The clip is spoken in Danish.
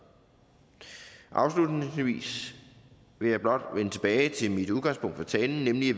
afslutningsvis vil jeg blot vende tilbage til mit udgangspunkt for talen nemlig